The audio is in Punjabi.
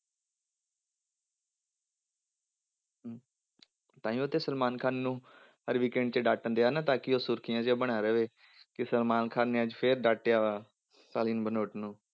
ਤਾਂਹੀਓ ਤੇ ਸਲਮਾਨ ਖਾਨ ਨੂੰ ਹਰ weekend ਤੇ ਡਾਂਟਣ ਦਿਆ ਨਾ ਤਾਂ ਕਿ ਉਹ ਸੁਰਖੀਆਂ 'ਚ ਬਣਿਆ ਰਵੇ, ਕਿ ਸਲਮਾਨ ਖਾਨ ਨੇ ਅੱਜ ਫਿਰ ਡਾਂਟਿਆ ਸਾਲਿਨ ਭਨੋਟ ਨੂੰ।